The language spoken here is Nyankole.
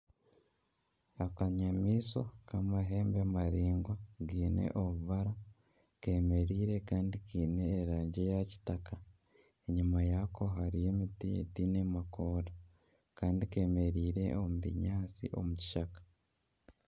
Akanyamaishwa k'amahembe maraingwa kaine obubara kemereire kandi kaine erangi ya kitaka. Enyima yako harihyo emiti etaine makoora. Kandi kemereire omu binyaatsi omu kishaka.